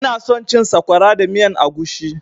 Ina son cin sakwara da miyan agushi